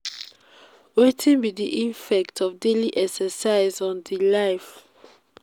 wetin be di effect of daily exercise on di life?